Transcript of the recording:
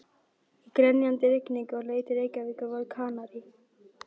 Í grenjandi rigningunni á leið til Reykjavíkur voru Kanarí